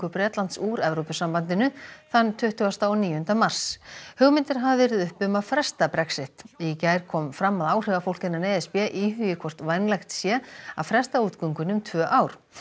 Bretlands úr Evrópusambandinu þann tuttugasta og níunda mars hugmyndir hafa verið uppi um að fresta Brexit í gær kom fram að áhrifafólk innan e s b íhugi hvort vænlegt sé að fresta útgöngunni um tvö ár